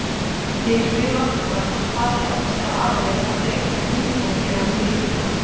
Ég spyr Valdimar hvort faðir hans eða aðrir hafi rekist á huldufólk hér á Mýrum.